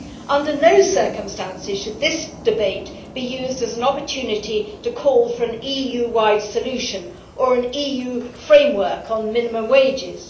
Under no circumstances should this debate be used as an opportunity to call for an EU wide solution or an EU framework on minimum wages.